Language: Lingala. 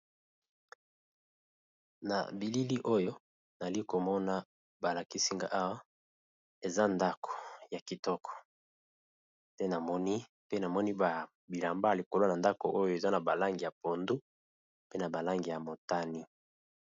Na bilili oyo nali komona ba lakisi nga awa eza ndako ya kitoko, te namoni pe namoni bilamba likolo na ndako oyo eza na ba langi ya pondu pe na ba langi ya motani.